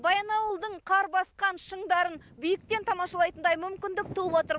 баянауылдың қар басқан шыңдарын биіктен тамашалайтындай мүмкіндік туып отыр